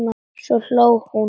Svo hló hún.